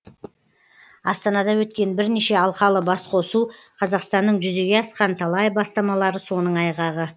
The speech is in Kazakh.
астанада өткен бірнеше алқалы басқосу қазақстанның жүзеге асқан талай бастамалары соның айғағы